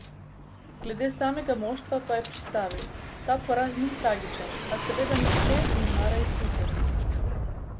Glede samega moštva pa je pristavil: "Ta poraz ni tragičen, a seveda nihče ne mara izgubljati.